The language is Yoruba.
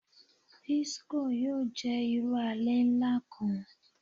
Disiko yoo jẹ iru alẹ nla kan